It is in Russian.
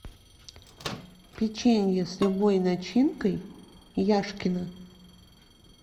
печенье с любой начинкой яшкино